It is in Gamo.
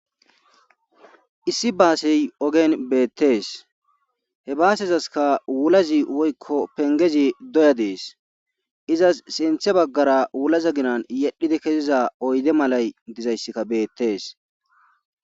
Issi baasey ogen beettees he baasezaska wulazi woykko pengezi doya dees izas sinthe baggara wulaza ginan yedhidi keziza oyde malay dizayssikka beettees.